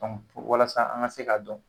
kɔmu Walasa an ka se k'a dɔn